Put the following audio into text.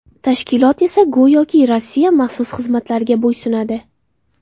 Tashkilot esa go‘yoki Rossiya maxsus xizmatlariga bo‘ysunadi.